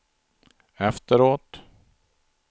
efteråt